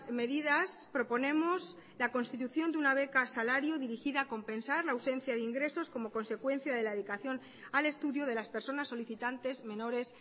medidas proponemos la constitución de una beca salario dirigida a compensar la ausencia de ingresos como consecuencia de la dedicación al estudio de las personas solicitantes menores